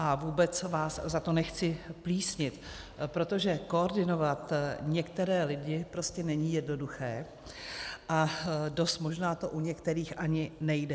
A vůbec vás za to nechci plísnit, protože koordinovat některé lidi prostě není jednoduché a dost možná to u některých ani nejde.